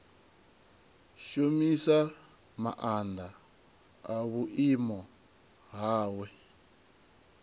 shumisa maanḓa a vhuimo hawe